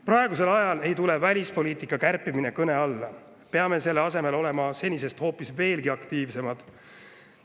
Praegusel ajal ei tule välispoliitika kärpimine kõne alla, peame selle asemel hoopis olema senisest veelgi aktiivsemad.